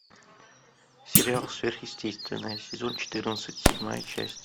сериал сверхъестественное сезон четырнадцать седьмая часть